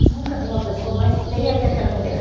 Você nunca viu uma pessoa mais feia que aquela mulher.